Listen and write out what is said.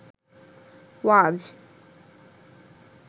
ওয়াজ